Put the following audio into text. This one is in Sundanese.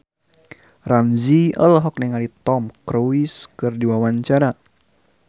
Ramzy olohok ningali Tom Cruise keur diwawancara